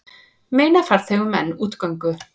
Meina farþegum enn útgöngu